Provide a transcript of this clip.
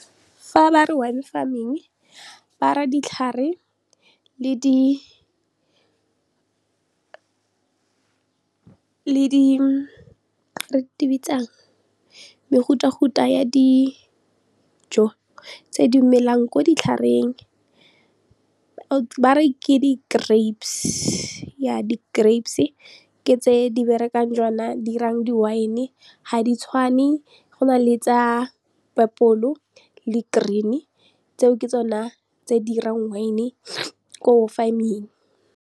Fa ba re wine farming, ba ra ditlhare le di mefutafuta ya dijo tse di melang ko ditlhareng ba re ke di-grapes ke tse di berekang di 'irang di-wine. Ga di tshwane go na le tse purple le green-e tseo ke tsona tse di dirang wine-e ko farming.